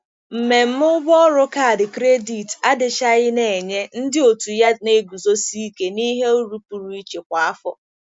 Mmemme ụgwọ ọrụ kaadị kredit adịchaghị na-enye ndị otu ya na-eguzosi ike n'ihe uru pụrụ iche kwa afọ.